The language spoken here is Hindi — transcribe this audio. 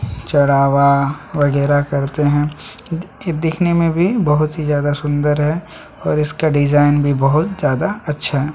चढ़ावा वगैरा करते हैं ए देखने में भी बहुत ही ज्यादा सुंदर है और इसका डिजाइन भी बहुत ज्यादा अच्छा है।